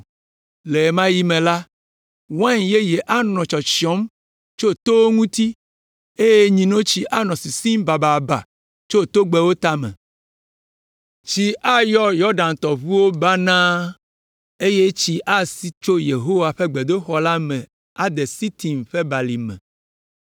“Le ɣe ma ɣi me la, wain yeye anɔ tsyɔtsyɔm tso towo ŋuti eye nyinotsi anɔ sisim bababa tso togbɛwo tame. Tsi ayɔ Yɔdan tɔʋuwo me banaa, eye tsi asi tso Yehowa ƒe gbedoxɔ la me ade tsi Sitim ƒe Balime.